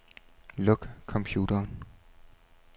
Luk computeren.